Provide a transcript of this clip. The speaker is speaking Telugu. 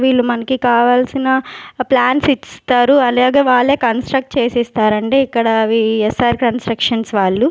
వీళ్ళు మనకి కావాల్సిన ప్లాన్స్ ఇస్తారు అలాగే వాల్లే కన్స్ట్రక్ట్ చేసి ఇస్తారు అండి ఇక్కడ అవి ఎస్_ఆర్ కన్స్ట్రక్షన్స్ వాళ్ళు.